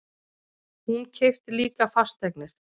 Hún keypti líka fasteignir.